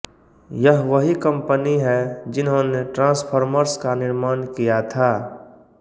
यह वही कंपनी है जिन्होंने ट्राँसफ़ॉर्मर्स का निर्माण किया था